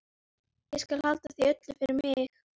Um það bil tíundi hver maður í plássinu.